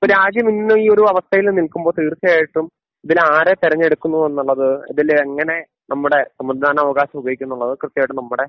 ഇപ്പോൾ രാജ്യമിന്ന് ഈ ഒരു അവസ്ഥയില് നിൽക്കുമ്പോൾ തീർച്ചയായിട്ടും ഇതിൽ ആരെ തിരഞ്ഞെടുമെന്നുള്ളത് ഇതിലെ എങ്ങനെ നമ്മുടെ സമ്മതിദാനാവകാശം ഉപയോഗിക്കും എന്നുള്ളത് കൃത്യമായിട്ട് നമ്മുടെ